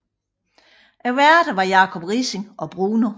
Værterne var Jacob Riising og Bruno